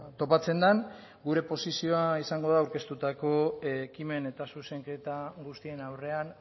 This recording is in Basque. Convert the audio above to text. topatzen den gure posizioa izango da aurkeztutako ekimen eta zuzenketa guztien aurrean